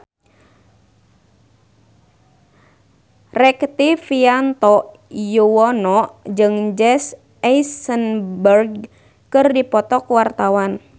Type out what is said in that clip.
Rektivianto Yoewono jeung Jesse Eisenberg keur dipoto ku wartawan